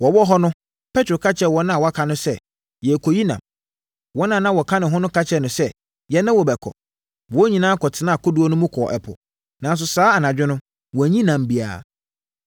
Wɔwɔ hɔ no, Petro ka kyerɛɛ wɔn a wɔaka no sɛ, “Merekɔyi nam.” Wɔn a na wɔka ne ho no ka kyerɛɛ no sɛ, “Yɛne wo bɛkɔ.” Wɔn nyinaa kɔtenaa kodoɔ mu kɔɔ ɛpo, nanso saa anadwo no wɔanyi nam biara.